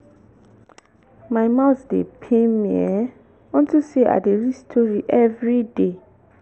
my mouth dey pain me um unto say i dey read story everyday